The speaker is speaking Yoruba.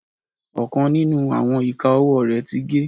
Ọkan ninu awọn ika ọwọ rẹ ti ge